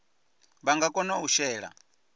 vha nga kona u shela